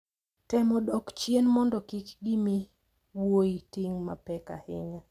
Temo dok chien mondo kik gimi wuoyi ting` mapek ahinya.